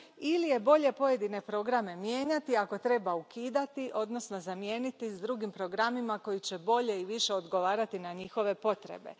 ili je bolje pojedine programe mijenjati, ako treba, ukidati, odnosno zamijeniti drugim programima koji će bolje i više odgovarati na njihove potrebe.